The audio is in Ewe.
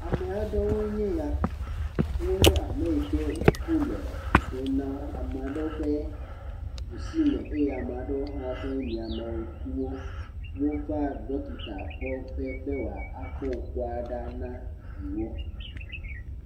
Ame aɖewoe nye ya. Wonye ame yi ke ŋku le fu ɖem na wo. Ame ɖewo ƒe ɖusime eye ame ɖewo hã woƒe miãme ŋkuwo. Wova ɖɔkita kpɔƒe be wòa akpɔ ŋkua ɖa na yewo.